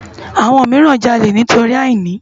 Awòn mirán jàlé nitóri àínì